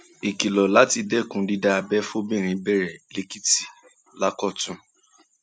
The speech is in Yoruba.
ìkìlọ láti dẹkùn dídá abẹ fọbìnrin bẹrẹ lẹkìtì lákọtun